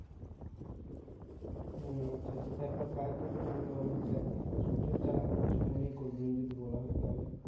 হম আচ্ছা আচ্ছা তাই তো তোকে বললাম আমি তোকে দেখ সুতোর জাল এখন কিছু মনেই করবে না যদি বলা হয় তাহলে